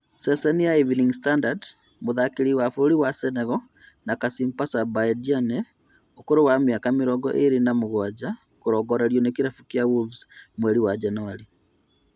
(Ceceni ya Evening standard) mũtharĩkĩri wa bũrũri wa Senegal na Kasimpasa Mbaye Diagne ũkũrũ wa mĩaka mĩrongo ĩrĩ na mũgwanja kũrongorerio nĩ kĩrabu kĩa Wolves mweri wa Januarĩ